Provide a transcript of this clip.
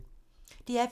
DR P2